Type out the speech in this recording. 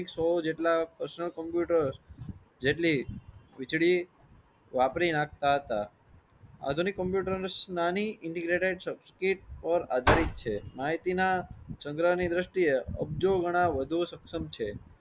જેટલી વીજળી વાપરી નાખતા હતા આધુનિક કોમ્પ્યુટર્સ નાની ઇંટેગરાટેડ સબસ્ક્રિપ્ટ અને આધુનિક છે માહિતી ના સંગ્રહ ની દ્રશ્તિયા અબજો ગંદા વધુ સક્ષમ છે